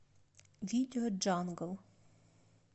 видео джангл